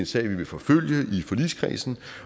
sag vi vil forfølge i forligskredsen